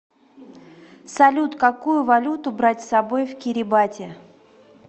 салют какую валюту брать с собой в кирибати